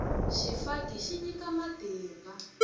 xifaki xi nyika matimba